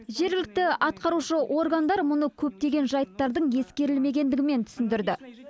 жергілікті атқарушы органдар мұны көптеген жайттардың ескерілмегендігімен түсіндірді